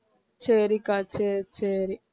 சரிக்கா சரி சரி